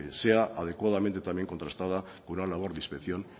sea adecuadamente también contrastada con una labor de inspección